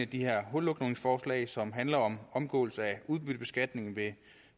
de her hullukningsforslag som handler om omgåelse af udbyttebeskatning ved